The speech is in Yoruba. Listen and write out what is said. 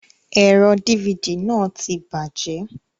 Ẹ̀rọ dífidì náà ti bàjẹ́.